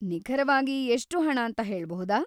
ನಿಖರವಾಗಿ ಎಷ್ಟು ಹಣ ಅಂತ ಹೇಳ್ಬಹುದಾ?